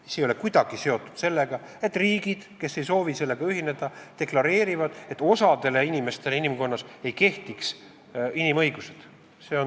See ei ole kuidagi seotud sellega, nagu riigid, kes ei soovi selle raamistikuga ühineda, deklareeriksid, et osa inimeste kohta ei kehtiks inimõigused.